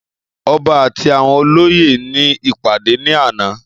Ọba àti àwọn olóyè ní ìpàdé ní àná